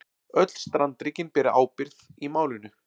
Öll strandríkin beri ábyrgð í málinu